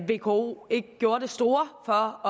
vko ikke gjorde det store for